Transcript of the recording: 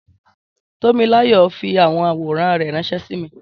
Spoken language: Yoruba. Tómiláyọ̀ fi àwọn àwòrán rẹ̀ ránṣẹ́ sí mi